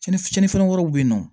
Cɛnni fiɲɛn wɛrɛw be yen nɔ